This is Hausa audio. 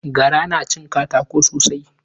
Gara na cin katako sosai.